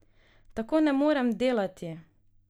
Tako ne morem delati!